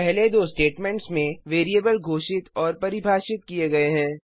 पहले दो statements variable घोषित और परिभाषित किए गए हैं